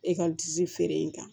E ka disi feere in kan